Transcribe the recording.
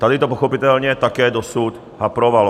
Tady to pochopitelně také dosud haprovalo.